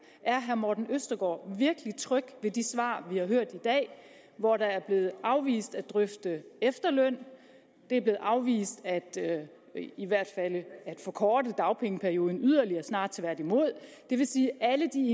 er herre morten østergaard virkelig tryg ved det svar vi har hørt i dag hvor det er blevet afvist at drøfte efterløn og det er blevet afvist at forkorte dagpengeperioden yderligere snarere tværtimod det vil sige at alle de